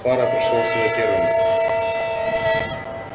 фара пришёл в себя первым